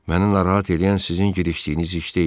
Məni narahat eləyən sizin girişdiyiniz iş deyil.